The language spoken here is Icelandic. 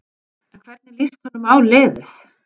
En hvernig líst honum á liðið?